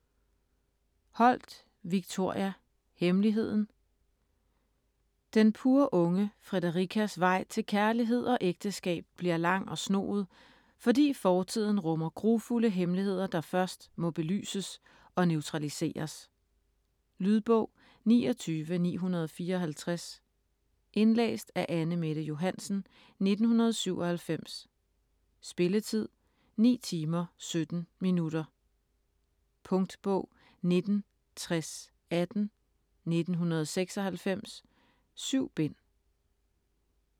Holt, Victoria: Hemmeligheden Den purunge Fredericas vej til kærlighed og ægteskab bliver lang og snoet, fordi fortiden rummer grufulde hemmeligheder, der først må belyses og neutraliseres. Lydbog 29954 Indlæst af Anne-Mette Johansen, 1997. Spilletid: 9 timer, 17 minutter. Punktbog 196018 1996. 7 bind.